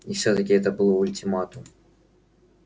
и всё-таки это был ультиматум